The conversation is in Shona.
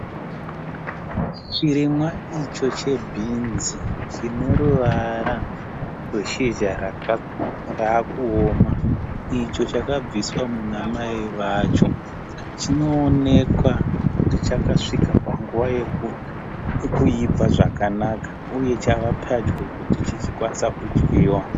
Chirimwa icho chebhinzi chineruvara rweshizha raakuoma. Icho chakabviswa. munamai vacho. Chinoonekwa kuti chakasvika panguva yekuibva zvakanaka. Uye chavapadyo kuti chichikwaniswa kudyiwa.